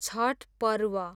Chhath Parv